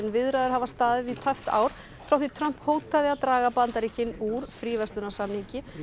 viðræður hafa staðið í tæpt ár frá því Trump hótaði að draga Bandaríkin úr fríverslunarsamningi